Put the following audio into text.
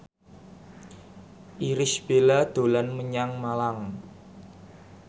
Irish Bella dolan menyang Malang